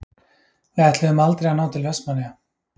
Við ætluðum aldrei að ná til Vestmannaeyja.